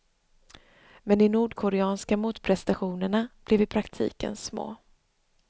Men de nordkoreanska motprestationerna blev i praktiken små.